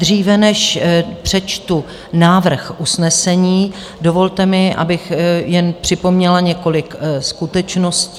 Dříve než přečtu návrh usnesení, dovolte mi, abych jen připomněla několik skutečností.